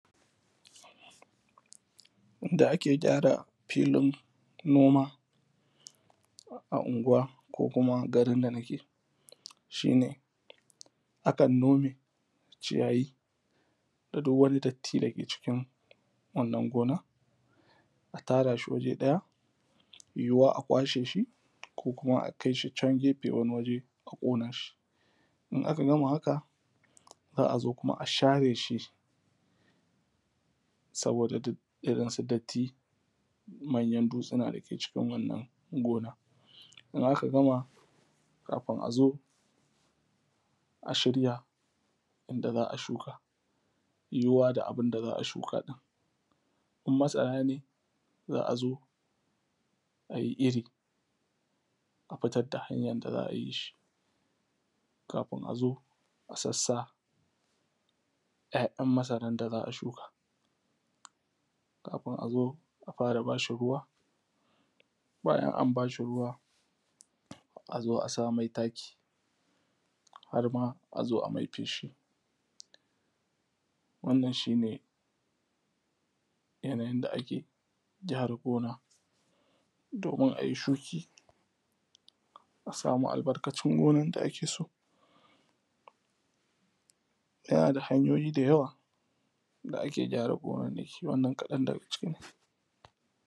yanda ake gyara filin noma a unguwa ko kuma garin da nake shi ne akan nome ciyayi da duk wani datti da ke cikin wannan gona a tara shi waje ɗaya yiwa a kwashe shi ko kuma a kai shi can gefe wani waje ko kuma a ƙona shi in aka gama haka za a zo kuma a share shi saboda irin su datti manyan dutsuna dake cikin wannan gona in aka gama kafin azo a shirya inda za a shuka yiwa da abun da za a shuka ɗin in masara ne za a zo ayi iri a fitar da hanyar da za a yi shi kafin azo a sassa ‘ya’yan masarar da za a shuka kafin azo a fara bashi ruwa bayan an bashi ruwa azo a sa mai taki har ma azo a mai feshi wannan shi ne yanayin da ake gyara gona domin ayi shuki a samu albarkacin gonan da ake so yana da hanyoyi da yawa da ake gyara gonannaki wannan kaɗan daga ciki ne